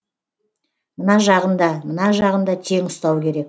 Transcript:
мына жағын да мына жағын да тең ұстау керек